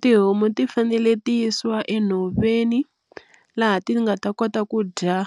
Tihomu ti fanele ti yisiwa enhoveni laha ti nga ta kota ku dya